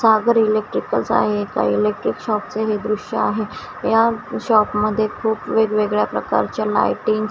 सागर electricals आहे एका electric shop चे हे दृश्य आहे या शॉप मध्ये खूप वेगवेगळ्या प्रकारच्या लाइटिंग्स --